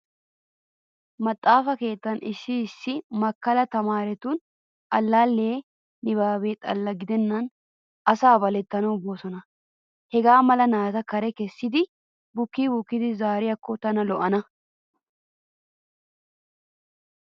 Maxaafa keettan issi issi makkala tamaaretu allaallee nibaabe xalla gidennan asaa balettanawu boosona. Hegaa mala naata kare kessidi bukkii bukkidi zaariyaakko tana lo"ana.